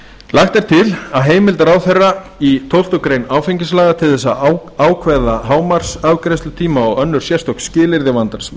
lagt er til að heimild ráðherra í tólftu grein áfengislaga til að ákveða hámarksafgreiðslutíma og önnur sérstök skilyrði